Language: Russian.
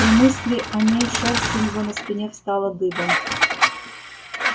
при мысли о ней шерсть у него на спине встала дыбом